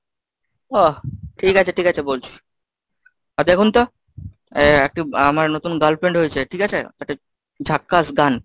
আহ ঠিক আছে ঠিক আছে বলছি। আর দেখুন তো এ একটু আমার নতুন girlfriend হয়েছে, ঠিক আছে? একটা ঝাক্কাস গান